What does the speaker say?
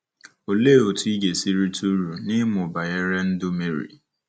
Olee otú ị ga-esi rite uru n’ịmụ banyere ndụ Meri?